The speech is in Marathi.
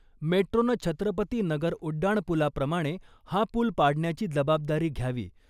मेट्रोनं छत्रपती नगर उड्डाणपूलाप्रमाणे हा पूल पाडण्याची जबाबदारी घ्यावी.